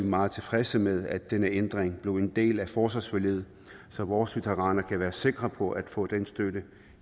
meget tilfredse med at denne ændring blev en del af forsvarsforliget så vores veteraner kan være sikre på at veteranerne får den støtte